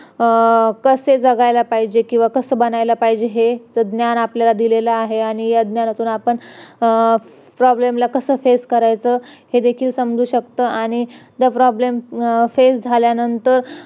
अं कस जगायला पाहिजेत किंवा कस बनायला पाहिजेत हे याच ज्ञान आपल्याला दिलेलं आहे याच ज्ञानातून आपण problem ला कस face करायचं हे देखील समजू शकत आणि तो problem face झाल्यानंतर